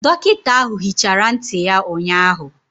Dọkịta ahụ hichara ntị ya ụnyahụ.